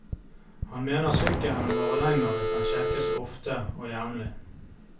Han mener sykkelen varer lenger hvis den sjekkes ofte og jevnlig.